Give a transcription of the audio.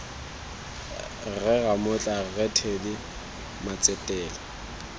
rre ramotla rre teddy matsetela